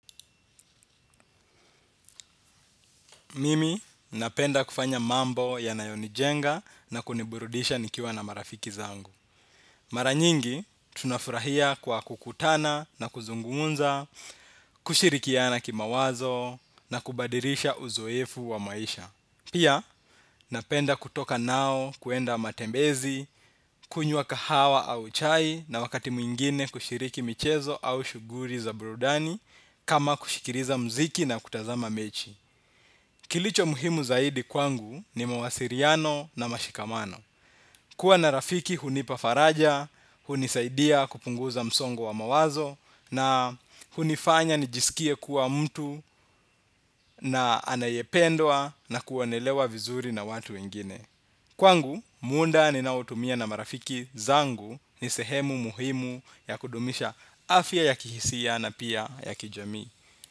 Mimi napenda kufanya mambo yanayonijenga na kuniburudisha nikiwa na marafiki zangu. Mara nyingi, tunafurahia kwa kukutana na kuzungumza, kushirikiana kimawazo na kubadilisha uzoefu wa maisha. Pia, napenda kutoka nao kwenda matembezi, kunywa kahawa au chai na wakati mwingine kushiriki michezo au shughuli za burudani kama kusikiliza muziki na kutazama mechi. Kilicho muhimu zaidi kwangu ni mawasiliano na mashikamano. Kuwa na rafiki hunipa faraja, hunisaidia kupunguza msongo wa mawazo na hunifanya nijisikie kuwa mtu anayependwa na kuonelewa vizuri na watu wengine. Kwangu, muda ninaotumia na marafiki zangu ni sehemu muhimu ya kudumisha afya ya kihisia na pia ya kijamii.